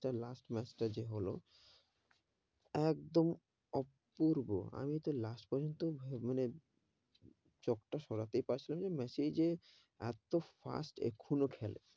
Last match টা যে হলো, একদম, অপূর্ব আমি তো last পর্যন্ত, মানে চোখ তা সরাতে পারছিলাম না, মেসি যে এতো fast এখনো খেলে,